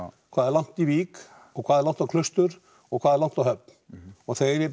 hvað er langt í Vík hvað er langt á Klaustur og hvað er langt á Höfn og þegar ég